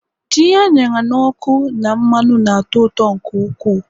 ji a ṅara n'ọkụ na mmanụ na-atọ ụtọ nke ukwuu